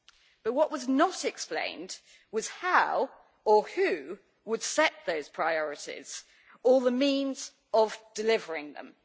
But what was not explained was how, or who, would set those priorities or the means of delivering them.